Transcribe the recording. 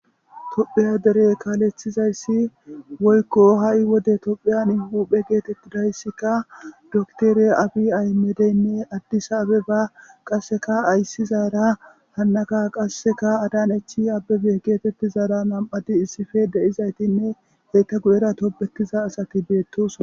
Tophiya dere kaalethizayssi woykko ha7i wode tophiyanI huphe geetettidayssika doktere abi ahimedeynne addisa abeba qasseka ayssizaara hannaka qasseka adanechi abebe geetettizaara nam7ati issife de7izaytinne eta guyera tobbetiza asati beettoso.